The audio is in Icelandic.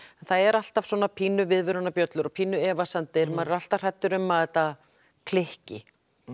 það eru alltaf viðvörunarbjöllur og efasemdir maður er alltaf hræddur um að þetta klikki